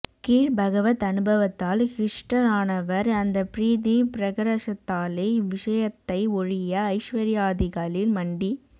கீழ் பகவத் அனுபவத்தால் ஹ்ருஷ்டரானவர் அந்த ப்ரீதி ப்ரகரஷத்தாலே இவ்விஷயத்தை ஒழிய ஐஸ்வர்யாதிகளில் மண்டி